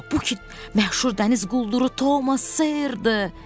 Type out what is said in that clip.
Bu ki məşhur dəniz qulduru Tomas Sirdir.